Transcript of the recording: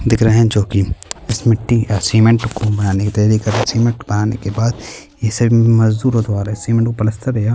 दिख रहै हैं जो कि इस मिट्टी या सीमेंट को बनाने की तैयारी कर रहै हैं सीमेंट बनाने के बाद इसे मजदूरों द्वारा सीमेंट को प्लास्टर या --